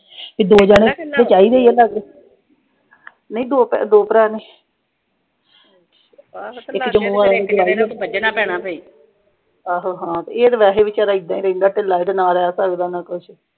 ਤੇ ਦੋ ਜਣੇ ਤਾਂ ਚਾਹੀਦੇ ਈ ਆ। ਨਈਂ ਦੋ-ਦੋ ਭਰਾ ਨੇ ਆਹੋ ਹਾਂ ਇਹ ਤਾਂ ਵੈਸੇ ਵੀ ਬੇਚਾਰਾ ਏਦਾਂ ਈ ਆ ਢਿੱਲਾ, ਇਹਦੇ ਨਾਲ ਆਲਾ ਕਰਦਾ ਹੋਣਾ ਕੁਸ਼।